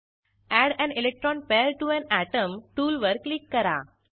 add an electron pair to an atom टूलवर क्लिक करा